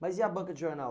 Mas e a banca de jornal?